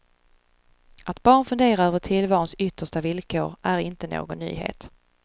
Att barn funderar över tillvarons yttersta villkor är inte någon nyhet.